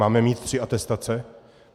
Máme mít tři atestace?